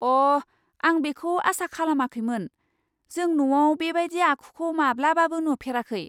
अ', आं बेखौ आसा खालामाखैमोन। जों न'आव बेबायदि आखुखौ माब्लाबाबो नुफेराखै!